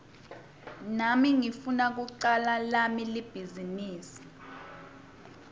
nami ngifuna kucala lami libhizinisi